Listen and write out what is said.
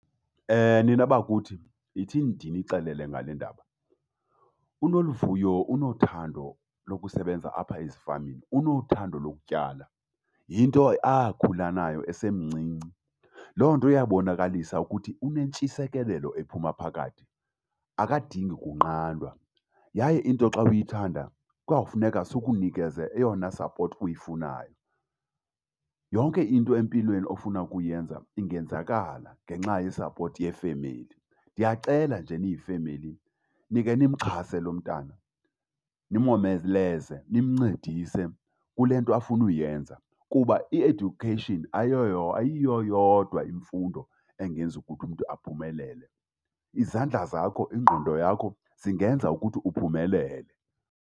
Nina bakuthi yithini ndinixelele ngale ndaba. UNoluvuyo unothando lokusebenza apha ezifamini, unothando lokutyala, yinto akhula nayo esemncinci. Loo nto iyabonkalisa ukuthi unentshisekelelo ephuma phakathi, akadingi kunqandwa. Yaye into xa uyithanda kwawufuneka sikunikeze eyona support uyifunayo. Yonke into empilweni ofuna ukuyenza ingenzakala ngenxa ye-support yefemeli. Ndiyacela nje niyifemeli nikhe nimxhase lo mntana, nimomeleze, nimncedise kule nto afuna uyenza. Kuba i-education ayiyo yodwa imfundo engenza ukuthi umntu aphumelele. Izandla zakho, ingqondo yakho, zingenza ukuthi uphumelele.